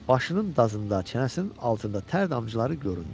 Başının dazında, çənəsinin altında tər damcıları göründü.